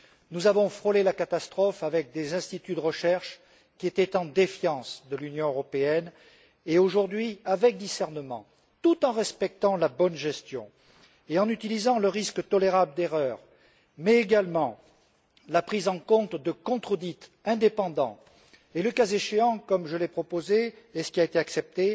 Nous avons frôlé la catastrophe avec des instituts de recherche qui étaient en défiance de l'Union européenne et aujourd'hui, avec discernement, tout en respectant la bonne gestion et en utilisant le risque tolérable d'erreurs, mais également la prise en compte de contre audits indépendants, et le cas échéant comme je l'ai proposé, et comme l'a été accepté